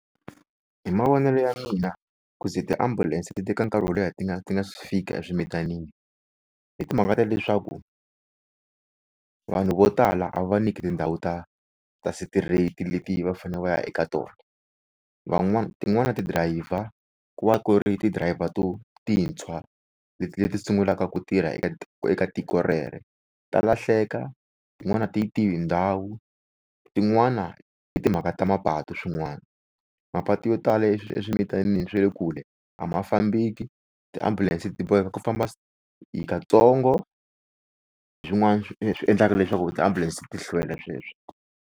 Hi mavonelo ya mina ku ze ti-ambulance ti teka nkarhi wo leha ti nga ti nga si fika eswimitanini i timhaka ta leswaku vanhu vo tala a va va nyiki tindhawu ta ta straight leti va fanele va ya eka tona. Van'wani tin'wana ti driver ku va ku ri ti driver to tintshwa leti leti sungulaka ku tirha eka eka tiko rero, ta lahleka tin'wana a ti yi tivi tindhawu. Tin'wani i timhaka ta mapatu swin'wana. Mapatu yo tala eswimitanini swa le kule a ma fambeki ti-ambulance ti boheka ku famba katsongo hi swin'wana swi endlaka leswaku tiambulense ti hlwela sweswo.